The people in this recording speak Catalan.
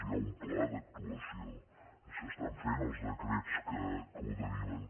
hi ha un pla d’actuació i s’estan fent els decrets que ho deriven